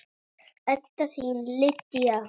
Þín Edda Lydía.